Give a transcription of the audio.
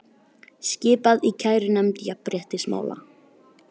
Skipað í kærunefnd jafnréttismála